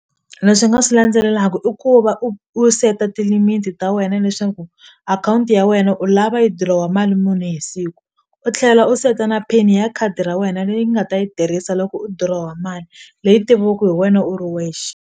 Leswi nga swi landzelelaku i ku va u u seta ti-limit ta wena leswaku akhawunti ya wena u lava yi dirowa mali muni hi siku u tlhela u seta na pin ya khadi ra wena leyi nga ta yi tirhisa loko u durowa mali leyi tiviwaku hi wena u ri wexe.